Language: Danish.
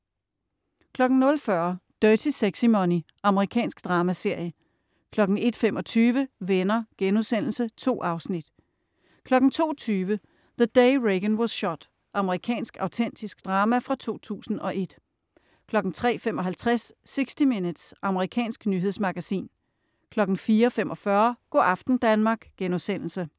00.40 Dirty Sexy Money. Amerikansk dramaserie 01.25 Venner.* 2 afsnit 02.20 The Day Reagan Was Shot. Amerikansk autentisk drama fra 2001 03.55 60 Minutes. Amerikansk nyhedsmagasin 04.45 Go' aften Danmark*